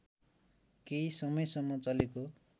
केही समयसम्म चलेको